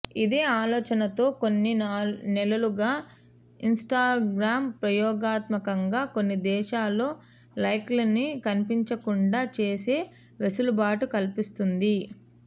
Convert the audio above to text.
ఇదే ఆలోచనతో కొన్ని నెలలుగా ఇన్స్టాగ్రామ్ ప్రయోగాత్మకంగా కొన్ని దేశాల్లో లైక్లని కనిపించకుండా చేసే వెసులుబాటు కల్పిస్తోంది